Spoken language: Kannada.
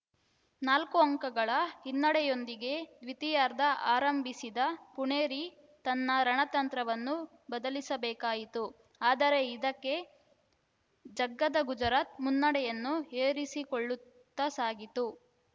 ನಾಲ್ಕು ಅಂಕಗಳ ಹಿನ್ನಡೆಯೊಂದಿಗೆ ದ್ವಿತೀಯಾರ್ಧ ಆರಂಭಿಸಿದ ಪುಣೇರಿ ತನ್ನ ರಣತಂತ್ರವನ್ನು ಬದಲಿಸಬೇಕಾಯಿತು ಆದರೆ ಇದಕ್ಕೆ ಜಗ್ಗದ ಗುಜರಾತ್‌ ಮುನ್ನಡೆಯನ್ನು ಏರಿಸಿಕೊಳ್ಳುತ್ತಾ ಸಾಗಿತು